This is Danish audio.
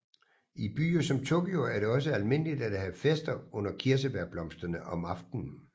I byer som Tokyo er det også almindeligt at have fester under kirsebærblomsterne om aftenen